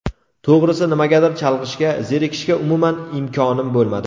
To‘g‘risi nimagadir chalg‘ishga, zerikishga umuman imkon bo‘lmadi.